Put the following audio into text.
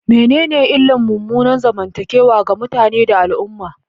Menene illar munanan zamantakewa ga mutane da al'umma?